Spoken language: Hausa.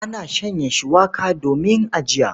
Ana shanya shuwaka domin ajiya.